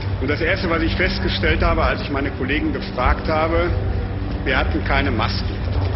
Und das Erste, was ich festgestellt habe, als ich meine Kollegen gefragt habe, war Wir hatten keine Masken.